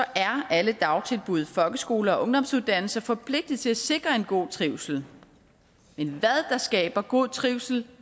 er alle dagtilbud folkeskoler og ungdomsuddannelser forpligtet til at sikre en god trivsel men hvad der skaber god trivsel